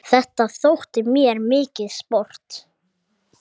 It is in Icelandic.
Þetta þótti mér mikið sport.